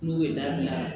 N'u ye dabila